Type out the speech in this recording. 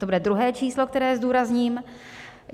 To bude druhé číslo, které zdůrazním.